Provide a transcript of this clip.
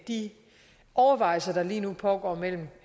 de overvejelser der lige nu pågår mellem